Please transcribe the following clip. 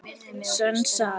Sönn saga.